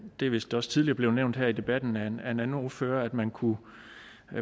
det er vist også tidligere blevet nævnt her i debatten af en anden ordfører at man kunne